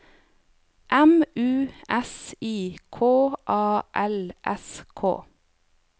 M U S I K A L S K